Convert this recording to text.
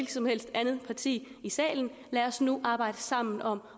som helst andet parti i salen lad os nu arbejde sammen om